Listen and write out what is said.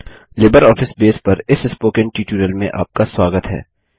LibreOffice base पर इस spoken tutorial में आपका स्वागत है